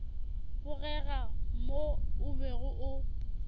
bogega mo o bego o